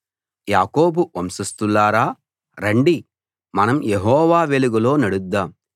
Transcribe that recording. యాకోబు వంశస్థులారా రండి మనం యెహోవా వెలుగులో నడుద్దాం